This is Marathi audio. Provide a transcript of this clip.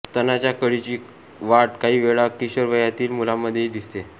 स्तनाच्या कळीची वाढ काही वेळा किशोरवयातील मुलांमधेही दिसते